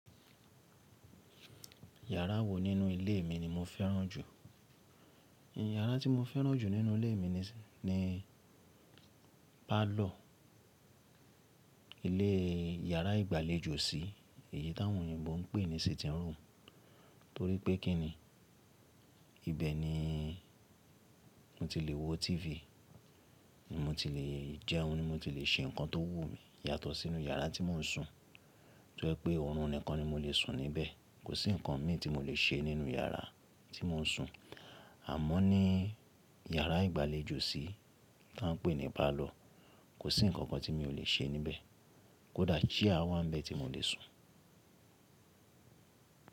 Yàrá wo nínú ilé mi ni mo fẹ́ràn jù? Ìyàrá tí mo fẹ́ràn jù nínú ilé mi ni, ni parlour. Ilé, yàrá ìgbàlejò sí, èyí táwọn òyìnbó ń pè ní sitting room. Torí pé kí ni, ibẹ̀ ni mo ti le wo TV, mo ti le jẹun, mo ti le ṣe nǹkan tó wù mí yàtọ̀ sínú yàrá tí mò ń sùn. Tí jẹ́ pé ọ̀run nìkan ni mo lè sùn níbẹ̀, kò sí ǹkan mì tí mo lè ṣe nínú yàrá tí mò ń sùn. Àmọ́ ní yàrá ìgbàlejò sí tí wọ́n ń pè ní parlour, kò sí ǹkankan tí mi ò lè ṣe níbẹ̀. Kódà chair wá ń bẹ tí mo lè sùn.